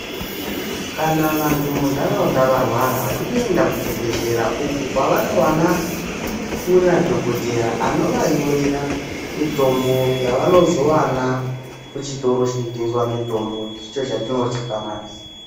Kana vantu mundaraunda varwara vanoenda kuchibhehlera uko kwavanozowana kuina dhokodheya anovanyorera mutombo yavanozovana kuchitoro chinotengeswa mitombo, icho chatinoti famasi.